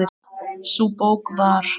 Sú bók var